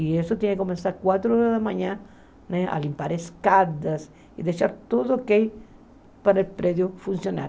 E isso tinha que começar quatro horas da manhã, né a limpar escadas e deixar tudo okay para o prédio funcionar.